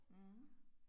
Mh